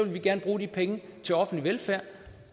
vi gerne bruge de penge til offentlig velfærd